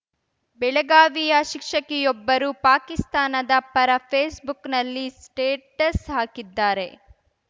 ಬೆಳಗಾವಿಯ ಶಿಕ್ಷಕಿಯೊಬ್ಬರು ಪಾಕಿಸ್ತಾನದ ಪರ ಫೇಸ್‌ ಬುಕ್‌ನಲ್ಲಿ ಸ್ಟೇಟಸ್‌ ಹಾಕಿದ್ದಾರೆ